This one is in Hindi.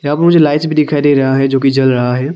यहां मुझे लाइट भी दिखाई दे रहा है जो कि जल रहा है।